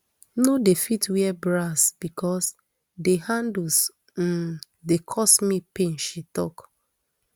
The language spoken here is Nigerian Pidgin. no dey fit wear bras bicos di handles um dey cause me pain she tok